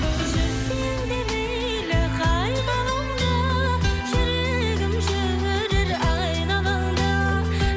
жүрсең де мейлі қай ғаламда жүрегім жүрер айналаңда